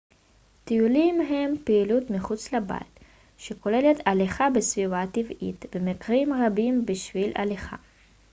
טיולים הם פעילות מחוץ לבית שכוללת הליכה בסביבה טבעית במקרים רבים בשבילי הליכה